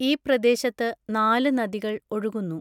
ഈ പ്രദേശത്ത് നാല് നദികൾ ഒഴുകുന്നു.